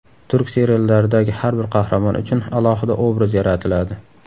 Turk seriallaridagi har bir qahramon uchun alohida obraz yaratiladi.